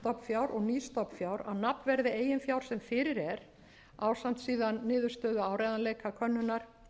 eldra stofnfjár og nýs stofnfjár að nafnverði eigin fjár sem fyrir er ásamt síðan niðurstöðum áreiðanleikakönnunar